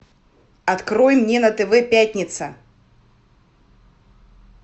открой мне на тв пятница